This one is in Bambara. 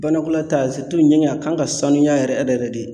Banakɔlata ɲɛgɛn a kan ka sanuya yɛrɛ yɛrɛ yɛrɛ de